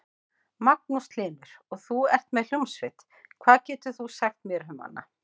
Magnús Hlynur: Og þú ert með hljómsveit, hvað getur þú sagt mér um hana?